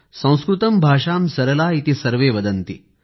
संस्कृतं भाषां सरला इति सर्वे वदन्ति